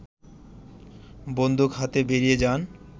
বন্দুক হাতে বেরিয়ে যান